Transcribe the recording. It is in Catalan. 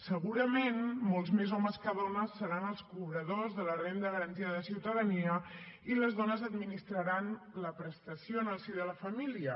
segurament molts més homes que dones seran els cobradors de la renda garantida de ciutadania i les dones administraran la prestació en el si de la família